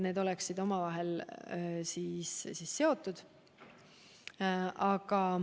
Need peaksid olema omavahel seotud.